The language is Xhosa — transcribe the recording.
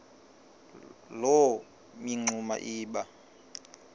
loo mingxuma iba